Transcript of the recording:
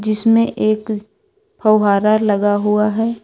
इसमें एक फहुहारा लगा हुआ है।